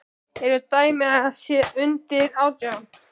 Eru dæmi um að þær séu undir átján?